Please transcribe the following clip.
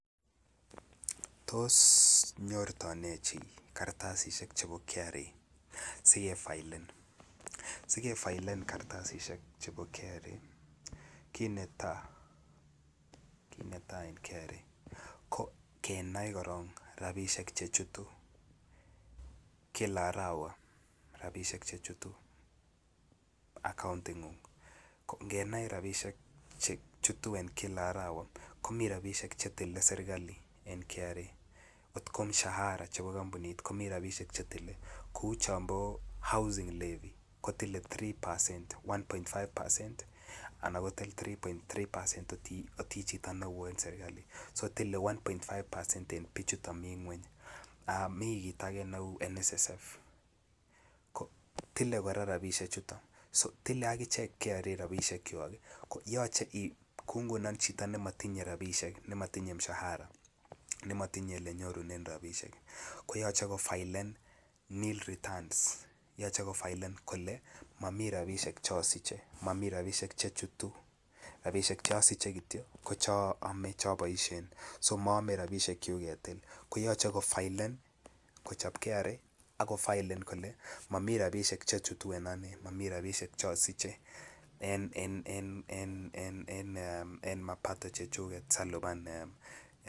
Tos nyorto ne chi kartasisyek chebo KRA si kefilen kartasisyek chebo KRA kit netai kit netai en KRA ko kenai korok kila arawa rabisiek chechutu akauntingung ngenai rabisiek chechutu en kila arawa komiten rabisiek Che tile serkali en KRA angot ko mushara komi rabisiek chetinye kou chon bo housing levy kotile 3 pacen anan 3.3 en bik Che echen en serkali so tile 1.5 pacen en bik Che mi ngwony miten kit age neu nssf ko tile kora rabisiechuto tile agichek KRA rabisiek kwak ko yoche ngunon kou chito nematimye rabisiek anan mshahara ne matinye Ole nyorunen rabisiek ko yoche kofilen nil returns yoche kofilen momi rabinik Che asiche momi rabisiek Che chutu momi rabisiek Che anome Che aboisien so moyome rabisiek kyuk ketil ko yoche kochob KRA ak kofilen kole Mami rabisiek Che chutu Mami Che chutu en mapato chechuk asi alipan aisurut